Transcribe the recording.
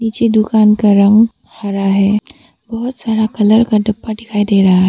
नीचे दुकान का रंग हरा है बहुत सारा कलर का डब्बा दिखाई दे रहा है।